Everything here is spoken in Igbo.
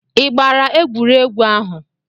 Ị gbara egwuregwu ahụ?